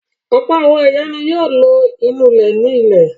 Ọ̀pọ̀ àwọn ìyá ni yóò lo ìnulẹ̀ ní ilé.